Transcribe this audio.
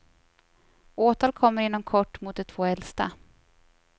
Åtal kommer inom kort mot de två äldsta.